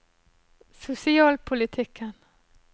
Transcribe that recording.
sosialpolitikken